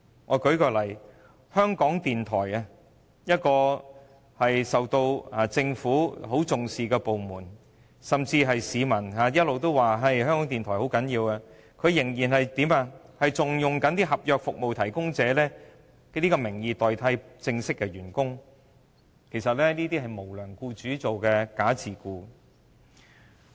我舉例，香港電台是政府很重視的部門之一，市民一直也說香港電台很重要，但香港電台仍然以服務合約提供者代替正式員工，其實這就是無良僱主實行"假自僱"。